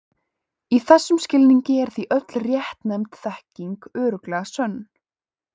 Í þessum skilningi er því öll réttnefnd þekking örugglega sönn.